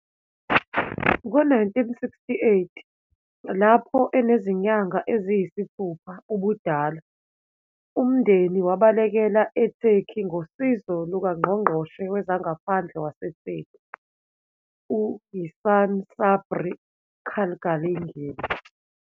Ngo-1968, lapho enezinyanga eziyisithupha ubudala, umndeni wabalekela I-Turkey ngosizo lukaNgqongqoshe Wezangaphandle waseTurkey u-İhsan Sabri Çağlayangil